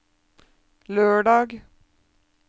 lørdag